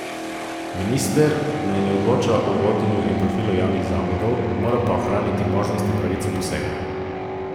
Minister naj ne odloča o vodenju in profilu javnih zavodov, mora pa ohraniti možnost in pravico posega.